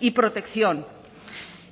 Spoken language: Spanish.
y protección